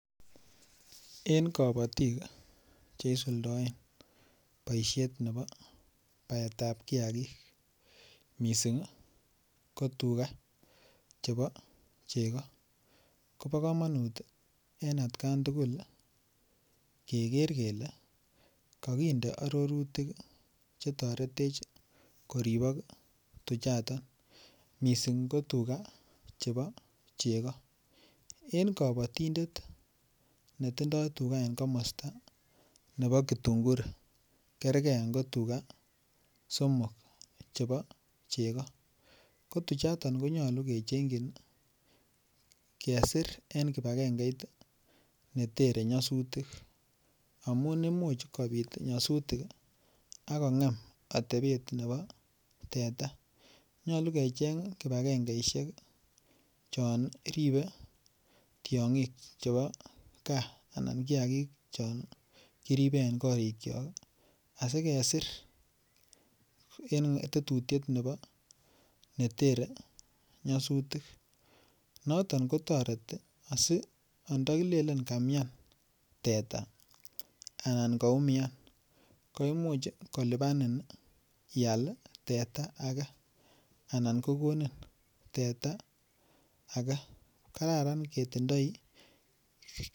En kabotik che isuldaei boishet nebo paetab kiyakik mising' ko tuka chebo chego kobo kamanut en atkantukul keker kele kakinde arorutik che toretech koribok tuchatan mising' ko tuka chebo chego. En kabotindet ne tindoi tuka eng komasta nebo Gitunguri kerkee ngo tuka somok chebo chego. Ko tuchatan konyolu kechengchin kesir eng kibagengeit netere nyasutik. Amun imuch kobit nyasutik ak kong'em atebet nebo teta. Nyolu kecheng' kibagengeishek choon ripei tiong'ik chebo kaa ana kiyakik choon kiribee en korikchok asikesir en tetutiet neboo neteree nyasutik. Noton kotareti asi andakilen ile kamian teta ana kaumian koimuch kolipanin ial teta ake ana kokonin teta ake. Kararan ketindoi